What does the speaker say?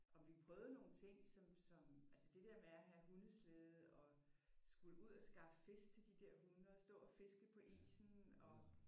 Og vi prøvede nogle ting som som altså det dér med at have hundeslæde og skulle ud at skaffe fisk til de dér hunde og stå og fiske på isen og